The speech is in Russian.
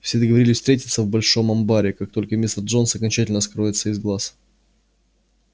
все договорились встретиться в большом амбаре как только мистер джонс окончательно скроется из глаз